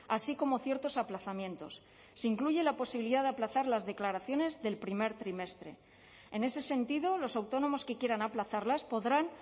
así como ciertos aplazamientos se incluye la posibilidad de aplazar las declaraciones del primer trimestre en ese sentido los autónomos que quieran aplazarlas podrán